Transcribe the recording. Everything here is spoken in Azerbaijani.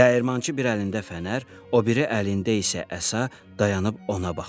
Dəyirmançı bir əlində fənər, o biri əlində isə əsa, dayanıb ona baxır.